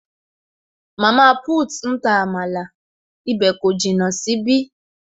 Mama put ń ta amala, ibè kò jìnnà sí ibí